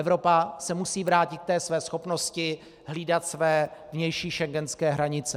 Evropa se musí vrátit k té své schopnosti hlídat své vnější schengenské hranice.